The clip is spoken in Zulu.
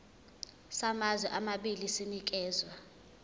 samazwe amabili sinikezwa